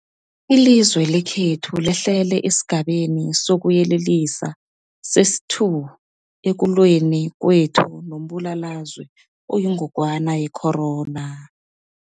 Ilizwe lekhethu lehlele esiGabeni sokuYelelisa sesi-2 ekulweni kwethu nombulalazwe oyingogwana ye-corona.